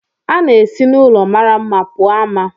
A na-esi n'ulọ mara mma pụọ ama.